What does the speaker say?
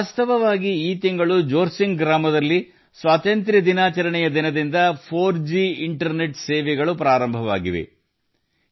ವಾಸ್ತವವಾಗಿ ಈ ತಿಂಗಳು ಜೋರ್ಸಿಂಗ್ ಗ್ರಾಮದಲ್ಲಿ 4ಜಿ ಇಂಟರ್ನೆಟ್ ಸೇವೆಗಳು ಸ್ವಾತಂತ್ರ್ಯ ದಿನಾಚರಣೆಯಿಂದ ಪ್ರಾರಂಭವಾಗಿವೆ